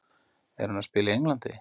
Er hann að spila í Englandi?